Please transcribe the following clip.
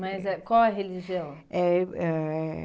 Mas eh qual é a religião? Eh eh